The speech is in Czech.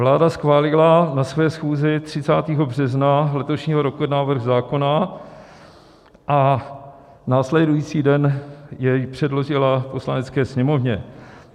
Vláda schválila na své schůzi 30. března letošního roku návrh zákona a následující den jej přeložila Poslanecké sněmovně.